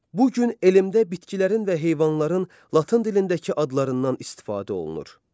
Bu gün elmdə bitkilərin və heyvanların latın dilindəki adlarından istifadə olunur.